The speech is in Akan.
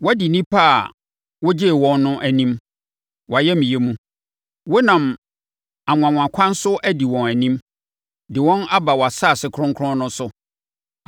Woadi nnipa a wogyee wɔn no anim, wʼayamyɛ mu. Wonam anwanwakwan so adi wɔn anim de wɔn aba wʼasase kronkron no so.